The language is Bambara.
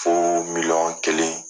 Fo miliyɔn kelen.